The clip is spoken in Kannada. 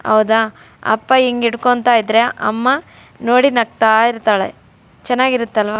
ಔದ ಅಪ್ಪ ಇಂಗಿಡ್ಕೊಂತಾಯಿದ್ರೆ ಅಮ್ಮ ನೋಡಿ ನಗ್ತಾ ಇರ್ತಾಳೆ ಚೆನ್ನಾಗಿರುತ್ತೆ ಅಲ್ವ.